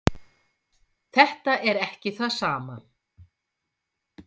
Þetta er ekki það sama.